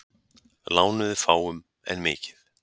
Lánuðu fáum en mikið